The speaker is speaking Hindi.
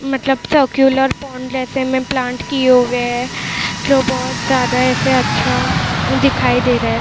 मतलब सर्कुलर पोंड जैसे में प्लांट किए हुए है जो बहुत ज्यादा ऐसे अच्छा दिखाई दे रहा है।